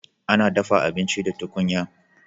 Ana dafa abinci da tukunya.